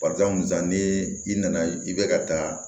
Barisa ni i nana i bɛ ka taa